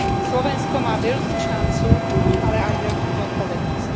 Slovensko má veľkú šancu, ale aj veľkú zodpovednosť.